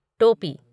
टोपी